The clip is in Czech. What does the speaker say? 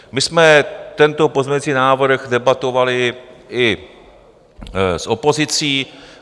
My jsme tento pozměňující návrh debatovali i s opozicí.